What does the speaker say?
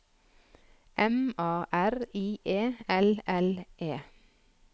M A R I E L L E